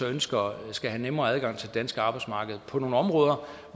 ønsker skal have nemmere adgang til det danske arbejdsmarked på nogle områder